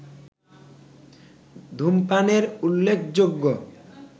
ধূমপানের উল্লেখযোগ্য